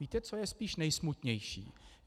Víte, co je spíše nejsmutnější?